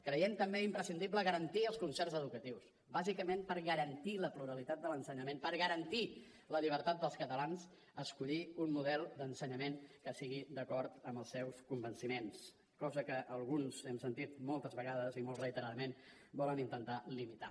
creiem també imprescindible garantir els concerts educatius bàsicament per garantir la pluralitat de l’ensenyament per garantir la llibertat dels catalans a escollir un model d’ensenyament que estigui d’acord amb els seus convenciments cosa que alguns hem sentit moltes vegades i molt reiteradament volen intentar limitar